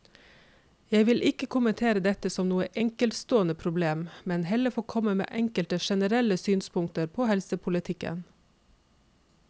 Jeg vil ikke kommentere dette som noe enkeltstående problem, men heller få komme med enkelte generelle synspunkter på helsepolitikken.